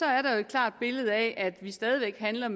er der et klart billede af at vi stadig handler